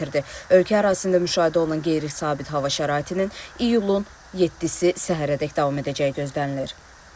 Ölkə ərazisində müşahidə olunan qeyri-sabit hava şəraitinin iyulun 7-si səhərədək davam edəcəyi gözlənilir.